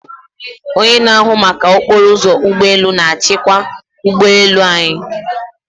Onye na-ahụ maka okporo ụzọ ụgbọ elu na-achịkwa ụgbọ elu anyị.